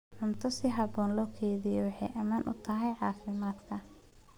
Cunto si habboon loo kaydiyo waxay ammaan u tahay caafimaadka.